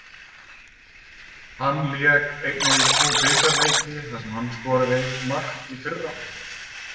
Hann lék einnig tvo bikarleiki þar sem hann skoraði eitt mark í fyrra.